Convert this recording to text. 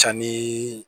Ca ni